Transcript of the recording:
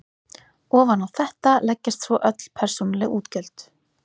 Ofan á þetta leggjast svo öll persónuleg útgjöld.